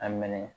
A minɛ